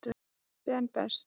Ben Best.